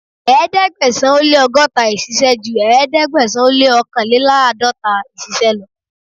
Ẹ̀ẹ́dẹ̀gbẹ̀sán ó lé ọgọ́ta ìṣìsẹ̀ ju ẹ̀ẹ́dẹ́gbẹ̀sán ó lé òòkànléláàdọ́ta ìṣísẹ̀ lọ.